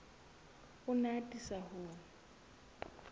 o ne a atisa ho